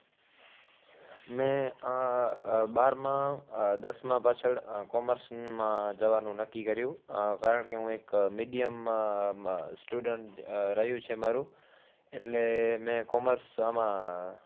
મેં આહ આહ બારમાં આહ દસમાં પાછળ આહ commerce માં જવામાં નક્કી કર્યું. આહ કારણ કે, હું એક medium અમ student રહ્યું છે મારું એટલે મેં commerce આમાં